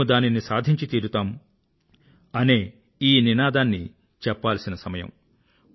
మేము దానిని సాధించి తీరతాం అనే ఈ నినాదాన్ని చెప్పాల్సిన సమయం